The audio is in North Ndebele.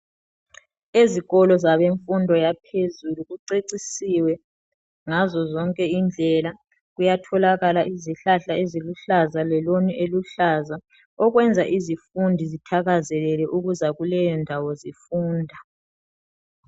Ezikolo zabemfundo yaphezulu kucecisiwe ngazo zonke indlela kuyatholakala izihlahla eziluhlaza leloni eluhlaza okwenza izifundi zithakazelele ukuza kuleyo ndawo zifunda.